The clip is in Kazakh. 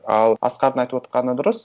ал асқардың айтып отырғаны дұрыс